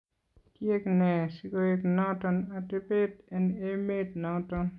Kiyeek nee sikoek noton atebeet en emeet noton?